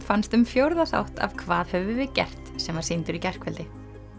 fannst um fjórða þátt af hvað höfum við gert sem var sýndur í gærkvöldi